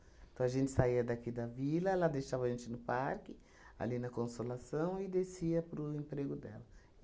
Então, a gente saía daqui da vila, ela deixava a gente no parque, ali na Consolação, e descia para o emprego dela.